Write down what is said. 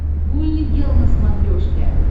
гулли гел на смотрешке